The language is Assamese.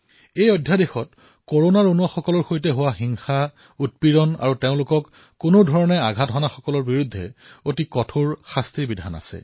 এই অধ্যাদেশে কৰোনা যোদ্ধাসকলৰ সৈতে থিয় দিছে উৎপীড়ন আৰু তেওঁলোকক যিকোনো প্ৰকাৰে ক্ষতি সাধন কৰা লোকসকলৰ বিৰুদ্ধে কঠোৰ শাস্তিৰ ব্যৱস্থা কৰা হৈছে